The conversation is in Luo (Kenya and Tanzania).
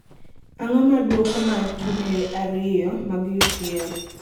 ang'o ma duoko mar tuke ariyo mag ucl